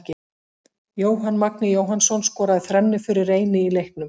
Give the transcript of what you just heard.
Jóhann Magni Jóhannsson skoraði þrennu fyrir Reyni í leiknum.